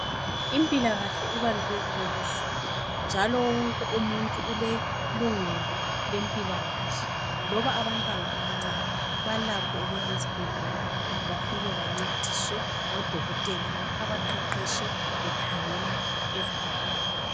Impilakahle ibalulekile kuzulu njalo wonke umuntu ulelungelo lempilakahle loba abantwana abancane balakho ukuya esibhedlela bafike bancediswe ngodokotela abaqeqetshe bekhangela ezabantwana.